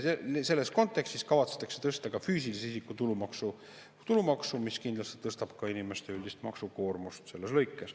Selles kontekstis kavatsetakse tõsta ka füüsilise isiku tulumaksu, mis kindlasti tõstab selles lõikes ka inimeste üldist maksukoormust.